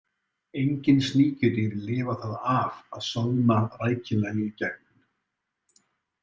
Engin sníkjudýr lifa það af að soðna rækilega í gegn.